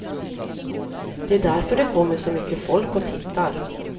Det är därför det kommer så mycket folk och tittar.